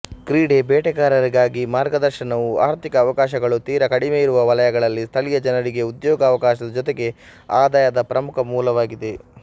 ಕ್ರೀಡಾ ಬೇಟೆಗಾರರಿಗಾಗಿ ಮಾರ್ಗದರ್ಶನವು ಆರ್ಥಿಕ ಅವಕಾಶಗಳು ತೀರ ಕಡಿಮೆಯಿರುವ ವಲಯಗಳಲ್ಲಿ ಸ್ಥಳೀಯ ಜನರಿಗೆ ಉದ್ಯೋಗಾವಕಾಶದ ಜೊತೆಗೆ ಆದಾಯದ ಪ್ರಮುಖ ಮೂಲವಾಗಿದೆ